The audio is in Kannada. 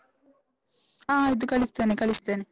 ಹ ಆಯ್ತು ಕಳಿಸ್ತೇನೆ, ಕಳಿಸ್ತೇನೆ.